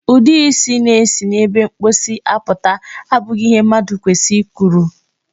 Ụdị isi na-esi n'ebe mposi apụta abụghị ihe mmadụ kwesịrị i kuru oge.